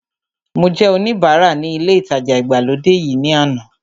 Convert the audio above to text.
Mo jẹ́ oníbara ní ilé ìtajà ìgbàlódé yìí ní àná